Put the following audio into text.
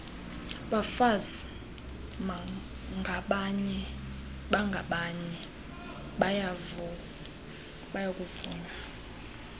bafazi bangabanye bayakuvunywa